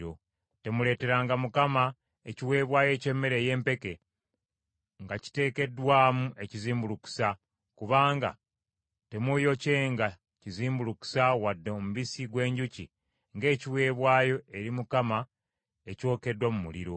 “ ‘Temuleeteranga Mukama ekiweebwayo eky’emmere ey’empeke nga kiteekeddwamu n’ekizimbulukusa; kubanga temuuyokyenga kizimbulukusa wadde omubisi gw’enjuki ng’ekiweebwayo eri Mukama ekyokeddwa mu muliro.